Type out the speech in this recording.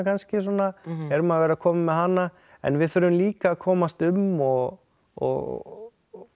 eða svona erum að verða komin með hana en við þurfum líka að komast um og og